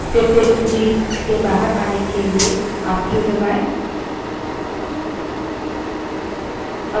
फिर से सूची के बाहर आने के लिए आप क्यू q दबायें